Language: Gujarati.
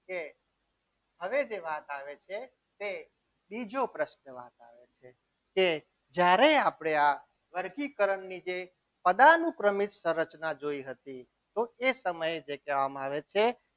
કે હવે જે વાત આવે છે તે ત્રીજો પ્રશ્ન વાત આવે છે કે જ્યારે આપણે આ વર્ગીકરણની જે અદાનું ક્રમિક સંરચના જોઈ હતી તો એ સમયે જે કહેવામાં આવે છે.